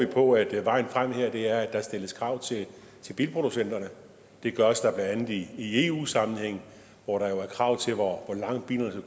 på at vejen frem her er at der stilles krav til bilproducenterne det gøres der blandt andet i eu sammenhæng hvor der er krav til hvor langt bilerne